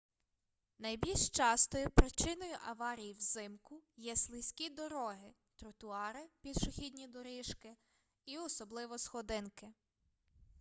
найбільш частою причиною аварій взимку є слизькі дороги тротуари пішохідні доріжки і особливо сходинки